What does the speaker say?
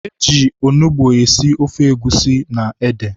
E ji onugbu esi ofe egusi na ede.